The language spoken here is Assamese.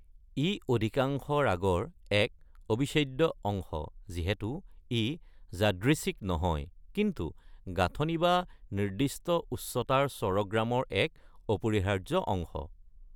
ই অধিকাংশ ৰাগৰ এক অবিচ্ছেদ্য অংশ, যিহেতু ই যাদৃচ্ছিক নহয় কিন্তু গাঁথনি বা নিৰ্দিষ্ট উচ্চতাৰ স্বৰগ্ৰামৰ এক অপৰিহাৰ্য অংশ।